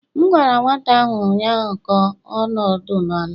M gwara nwata ahụ ụnyaahụ ka ọ nọdụ n' ala!